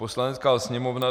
Poslanecká sněmovna